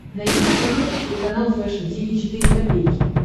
найди на смотрешке телеканал фэшн ти ви четыре ка